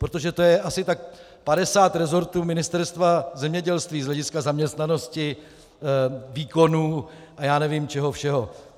Protože to je asi tak 50 rezortů Ministerstva zemědělství z hlediska zaměstnanosti, výkonů a já nevím čeho všeho.